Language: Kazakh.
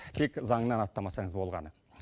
тек заңнан аттамасаңыз болғаны